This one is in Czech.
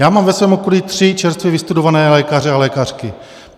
Já mám ve svém okolí tři čerstvě vystudované lékaře a lékařky.